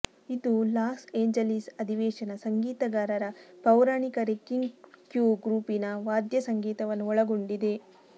ಇದು Los Angeles ಅಧಿವೇಶನ ಸಂಗೀತಗಾರರ ಪೌರಾಣಿಕ ರೆಕ್ಕಿಂಗ್ ಕ್ರ್ಯೂ ಗುಂಪಿನ ವಾದ್ಯಸಂಗೀತವನ್ನು ಒಳಗೊಂಡಿದೆ